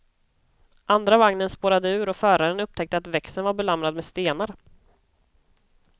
Andra vagnen spårade ur och föraren upptäckte att växeln var belamrad med stenar.